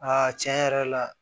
Aa tiɲɛ yɛrɛ la